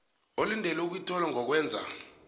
olindele ukuyithola ngokwenza